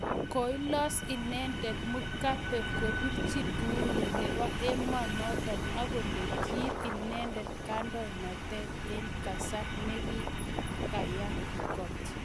Koilos inendet Mugabe kopirchin uhuru nepo emonoton agole kiip inendet kandoinatet en kasar negiyaa kot.